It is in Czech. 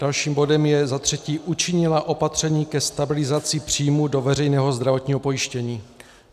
Dalším bodem je za třetí: Učinila opatření ke stabilizaci příjmů do veřejného zdravotního pojištění.